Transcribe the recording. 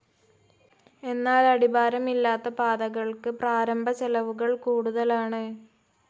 എന്നാൽ അടിഭാരമില്ലാത്ത പാതകൾക്ക് പ്രാരംഭ ചെലവുകൾ കൂടുതലാണ്.